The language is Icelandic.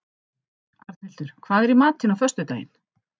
Arnhildur, hvað er í matinn á föstudaginn?